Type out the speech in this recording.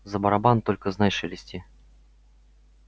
за барабан только знай шелести